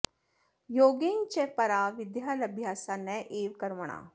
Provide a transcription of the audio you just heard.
योगेन च परा विद्या लभ्या सा नैव कर्मणा